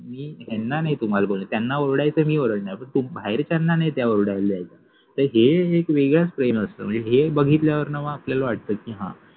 मि ह्याना नाहि तुम्हाला बोलनार, त्याना ओरडायच आहे ते मि ओरडनार पन बाहेरच्याना नाहि ते ओरडायला द्यायचे हे एक वेगळेच प्रेम असत मनजे हे बघितल्यावर न मग आपल्याला वाटत